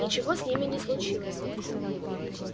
ничего с ними не случилось